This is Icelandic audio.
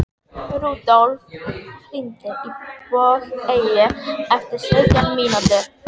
Rúdólf, hringdu í Bogeyju eftir sautján mínútur.